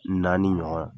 Naani ɲɔgɔn